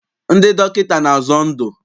Ndị dọkịta na-azọ ndụ.